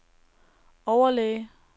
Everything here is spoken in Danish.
overlæge